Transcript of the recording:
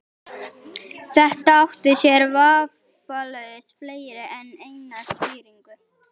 Þetta átti sér vafalaust fleiri en eina skýringu.